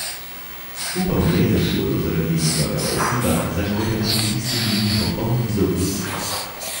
Upal je, da ji bodo zaradi njegovega odziva zašklepetali tisti njeni popolni zobje.